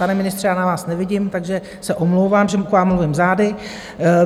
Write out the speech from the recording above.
Pane ministře, já na vás nevidím, takže se omlouvám, že k vám mluvím zády.